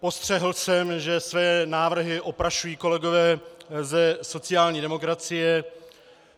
Postřehl jsem, že své návrhy oprašují kolegové ze sociální demokracie.